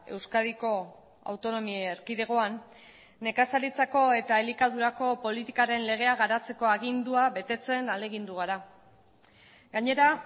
euskadiko autonomia erkidegoan nekazaritzako eta elikadurako politikaren legea garatzeko agindua betetzen ahalegindu gara gainera